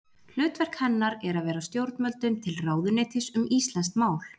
Hlutverk hennar er að vera stjórnvöldum til ráðuneytis um íslenskt mál.